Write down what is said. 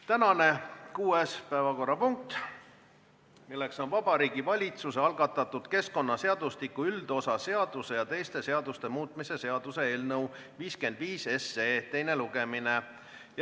Tänane kuues päevakorrapunkt on Vabariigi Valitsuse algatatud keskkonnaseadustiku üldosa seaduse ja teiste seaduste muutmise seaduse eelnõu 55 teine lugemine.